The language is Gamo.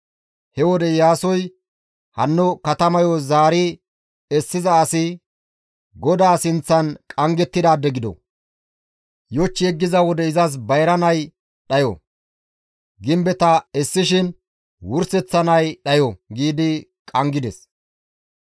He wode Iyaasoy, «Hanno katamayo zaari essiza asi, ‹GODAA sinththan qanggettidaade gido. Yoch yeggiza wode izas bayra nay dhayo. Gimbeta essishin wurseththa nay dhayo› » giidi qanggides.